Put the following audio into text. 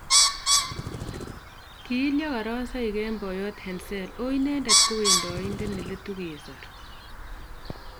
ki ilya karasoik en poyoot Henzel o inendet ko wendaindet neletu kesor